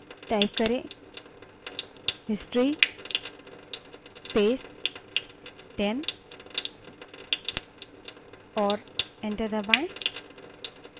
history space 10 type करें और enter दबायें